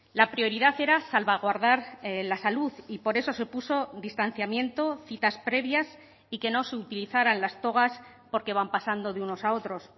la prioridad era salvaguardar la salud y por eso se puso distanciamiento citas previas y que no se utilizaran las togas porque van pasando de unos a otros